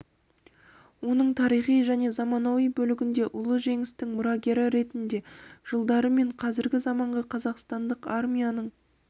оның тарихи және заманауи бөлігінде ұлы жеңістің мұрагері ретінде жылдары мен қазіргі заманғы қазақстандық армияның